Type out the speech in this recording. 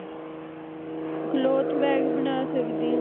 Cloth bag ਬਣਾ ਸਕਦੀ ਹੈ